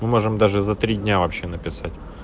мы можем даже за три дня вообще написать